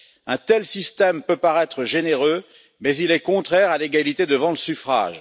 Un tel système peut paraître généreux, mais il est contraire à l'égalité devant le suffrage.